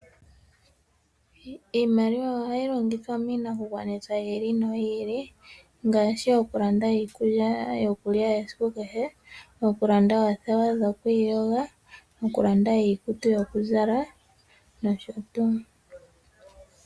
Iimaliwa ohayi longithwa miinakugwanithwa yi ili noyi ili ngaashi okulanda iikulya yokulya esiku kehe, okulanda oothewa dhokwiiyoga, okulanda iikutu yokuzala nosho tuu.